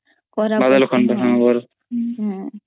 ହଁ କରା ବି ପଡଥାଏ